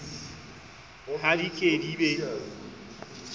ha di ke di be